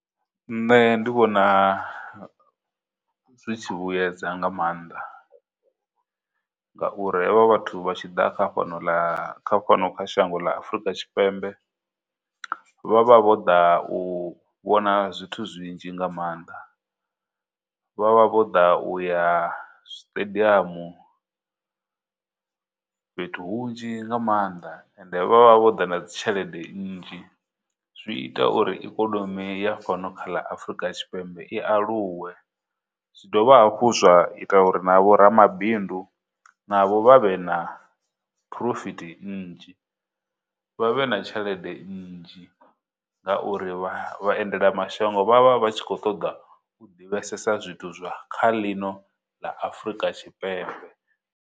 Nṋe ndi vhona zwi tshi vhuedza nga maanḓa ngauri, ha vha vhathu vha tshi ḓa kha fhano ḽa kha fhano ḽa shango ḽa Afurika Tshipembe, vha vha vho ḓa u vhona zwithu zwinzhi nga maanḓa, vha vha vho ḓa u ya stadium, fhethu hunzhi nga mannḓa ende vha vha vho ḓa na dzitshelede nnzhi, zwi ita uri ikonomi ya fhano kha ḽa Afurika Tshipembe i aluwe. Zwi dovha hafhu zwa ita uri na vho ramabindu na vho vha vhe na profit nnzhi vha vhe na tshelede nnzhi ngauri, vhaendela mashango vha vha vha tshi khou ṱoḓa u divhesesa zwithu zwa kha ḽino ḽa Afurika Tshipembe.